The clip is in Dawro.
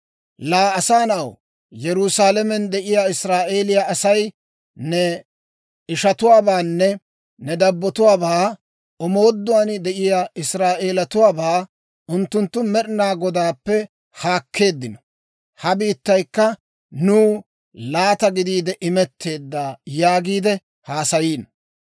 «Laa asaa na'aw, Yerusaalamen de'iyaa Israa'eeliyaa Asay ne ishatuwaabaanne ne dabbotuwaabaa, omooduwaan de'iyaa Israa'eelatuwaabaa ‹Unttunttu Med'inaa Godaappe haakkeeddino; ha biittaykka nuw laata gidiide imetteedda› yaagiide haasayiino.